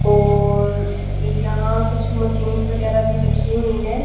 ओर यहां कुछ मशीन वगैरह भी रखी हुई हैं।